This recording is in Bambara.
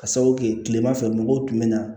Ka sababu kɛ kilema fɛ mɔgɔw tun bɛ na